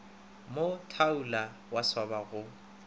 mo thaula wa swaba go